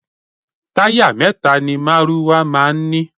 Táyà mẹ́ta ni márúwá máa ń ní.